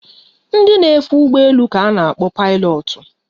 Ndị na-efe ụgbọ elu ka a na-akpọ pailotu